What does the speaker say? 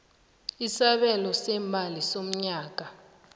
isabelo seemali somnyaka